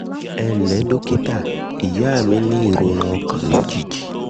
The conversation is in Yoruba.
ẹ ǹ lẹ́ dókítà ìyá mi ní mi ní ìrora ọkàn lójijì